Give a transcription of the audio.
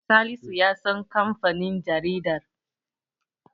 Salisu ya san kamfanin jaridar.